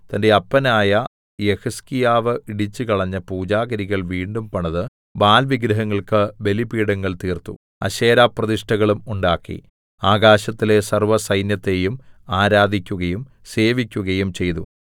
തന്റെ അപ്പനായ യെഹിസ്കീയാവ് ഇടിച്ചുകളഞ്ഞ പൂജാഗിരികൾ വീണ്ടും പണിത് ബാല്‍ വിഗ്രഹങ്ങൾക്ക് ബലിപീഠങ്ങൾ തീർത്തു അശേരാപ്രതിഷ്ഠകളും ഉണ്ടാക്കി ആകാശത്തിലെ സർവ്വസൈന്യത്തെയും ആരാധിക്കുകയും സേവിക്കുകയും ചെയ്തു